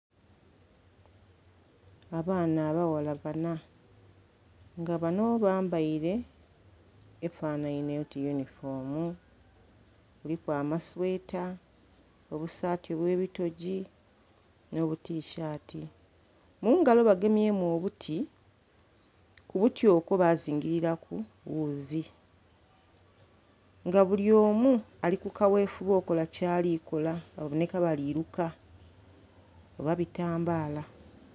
Abaana abaghala bana, nga bano bambaile efanhainhe oti yunifoomu. Kuliku amasweta, obusaati bw'ebitogyi, n'obutishaati. Mu ngalo bagemyemu obuti, ku buti okwo bazingililaku wuuzi. Nga buli omu ali ku kawefube okola kyali kola, babonheka bali luka oba bitambaala.